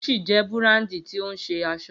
Gucci jẹ́ búràndì tí ó ń ṣe aṣọ